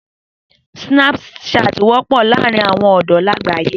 Sínápùsaatì wọ́pọ̀ láàárín àwọn ọ̀dọ́ làgbáyé